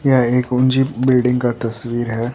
यह एक ऊँची बिल्डिंग का तस्वीर है।